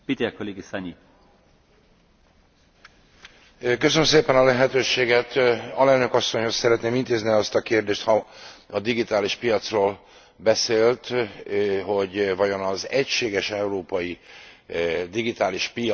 Alelnök asszonyhoz szeretném intézni azt a kérdést, ha a digitális piacról beszélt, hogy vajon az egységes európai digitális piachoz képest egy úgynevezett digitális unióval is tudna e a képviselő asszony barátkozni?